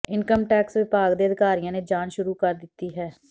income tax ਵਿਭਾਗ ਦੇ ਅਧਿਕਾਰੀਆਂ ਨੇ ਜਾਂਚ ਸ਼ੁਰੂ ਕਰ ਦਿੱਤੀ ਹੈ